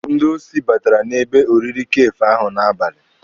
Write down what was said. Ndị osi batara n'ebe oriri kafee ahụ n'abalị.